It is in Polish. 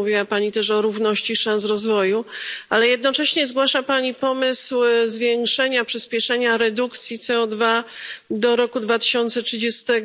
Mówiła Pani też o równości szans rozwoju, ale jednocześnie zgłasza pani pomysł zwiększenia, przyspieszenia redukcji CO2 do 2030 r.,